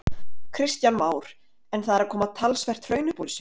Kristján Már: En það er að koma talsvert hraun upp úr þessu?